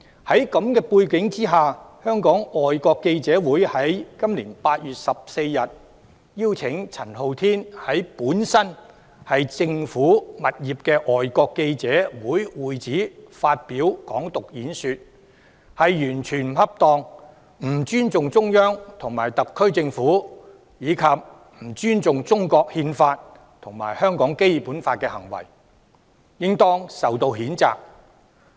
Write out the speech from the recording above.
在這個背景下，今年8月14日，香港外國記者會邀請陳浩天在本來是政府物業的外國記者會會址發表"港獨"演說，這是完全不恰當，不尊重中央和特區政府，以及不尊重中國《憲法》和香港《基本法》的行為，應當受到譴責。